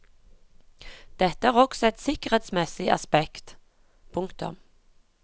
Dette har også et sikkerhetsmessig aspekt. punktum